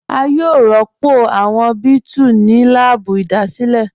À yòó rọ́pọ̀ awọn bẹẹ̀tù ní lààbù ìṣẹ̀dáilé